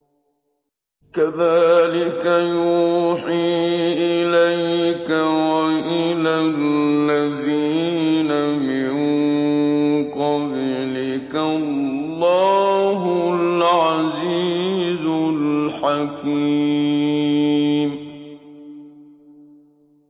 كَذَٰلِكَ يُوحِي إِلَيْكَ وَإِلَى الَّذِينَ مِن قَبْلِكَ اللَّهُ الْعَزِيزُ الْحَكِيمُ